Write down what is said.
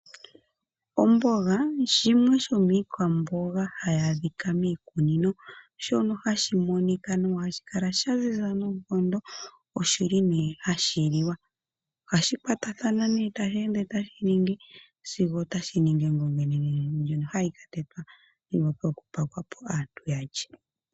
Omboga shimwe shomiikwamboga hayi adhika miikunino shono hashi monika nohashi kala sha ziza noonkondo. Ohashi liwa. Ohashi kwatathana sigo otashi ningi ongonga onenenene ndjono hayi ka tetwa ko yi wape okupakwapo aantu ya lye.